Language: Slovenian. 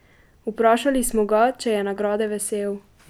Vprašali smo ga, če je nagrade vesel.